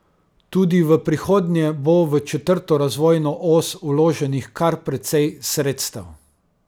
Tudi v prihodnje bo v četrto razvojno os vloženih kar precej sredstev.